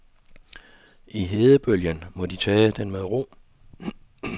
I hedebølgen må de tage den med ro.